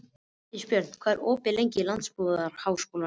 Ísbjörn, hvað er opið lengi í Landbúnaðarháskólanum?